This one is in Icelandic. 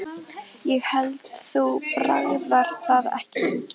Ég hélt þú bragðaðir það ekki lengur